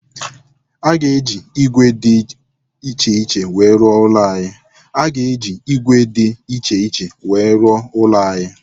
A ga-eji ígwè dị iche iche wee rụọ ụlọ anyị